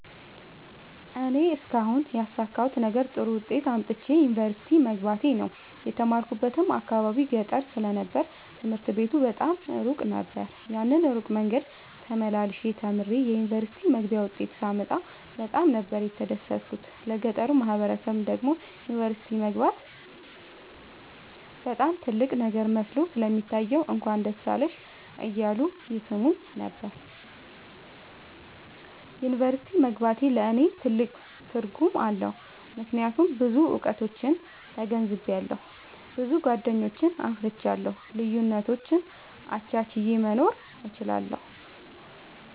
እኔ እስካሁን ያሣካሁት ነገር ጥሩ ዉጤት አምጥቼ ዩኒቨርሲቲ መግባቴ ነዉ። የተማርኩበት አካባቢ ገጠር ስለ ነበር ትምህርት ቤቱ በጣም እሩቅ ነበር። ያን እሩቅ መንገድ ተመላልሸ ተምሬ የዩኒቨርሲቲ መግቢያ ዉጤት ሳመጣ በጣም ነበር የተደሠትኩት ለገጠሩ ማህበረሠብ ደግሞ ዩኒቨርሲቲ መግባት በጣም ትልቅ ነገር መስሎ ስለሚታየዉ እንኳን ደስ አለሽ እያሉ ይሥሙኝ ነበር። ዩኒቨርሢቲ መግባቴ ለኔ ትልቅ ትርጉም አለዉ። ምክያቱም ብዙ እዉቀቶችን ተገንዝቤአለሁ። ብዙ ጎደኞችን አፍርቻለሁ። ልዩነቶችን አቻችየ መኖር እችላለሁ።